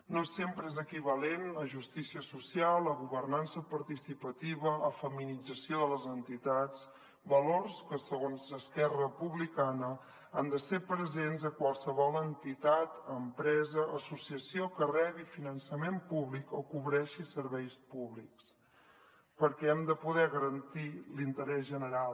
no sempre és equivalent a justícia social a governança participativa a feminització de les entitats valors que segons esquerra republicana han de ser presents a qualsevol entitat empresa associació que rebi finançament públic o cobreixi serveis públics perquè hem de poder garantir l’interès general